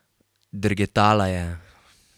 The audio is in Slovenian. Drgetala je.